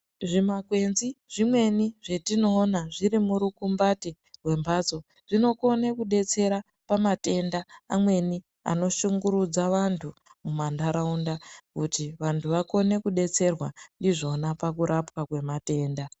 Zvimakwenzi zvimweni zvetinoona zviri murukumbati rwembatso zvinokone kudetsera pamatenda amweni anoshungurudza antu mumandaraunda kuti vantu vakone kudetserwa ndizvona pakurapwaa kwematendaa.